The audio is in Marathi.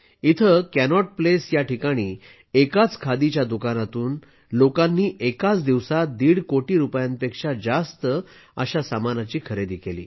इथे कॅनॉट प्लेस या ठिकाणी एकाच खादीच्या दुकानात लोकांनी एकाच दिवसात दीड कोटी रुपयांपेक्षा जास्त सामानाची खरेदी केली